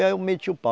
E aí eu meti o pau.